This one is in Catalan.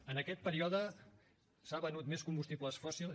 en aquest període s’ha venut més combustibles fòssils